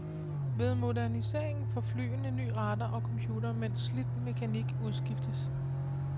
Ved moderniseringen får flyene ny radar og computer, mens slidt mekanik udskiftes.